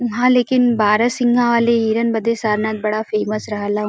हां लेकिन बारहसिंघा वाले हिरन बदे सारनाथ बड़ा फेमस रहल।